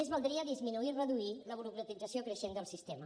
més valdria disminuir i reduir la burocratització creixent del sistema